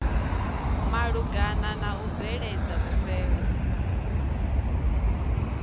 malugana na u bveledza khumbelo